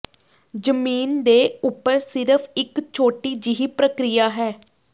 ਜ਼ਮੀਨ ਦੇ ਉੱਪਰ ਸਿਰਫ ਇੱਕ ਛੋਟੀ ਜਿਹੀ ਪ੍ਰਕਿਰਿਆ ਹੈ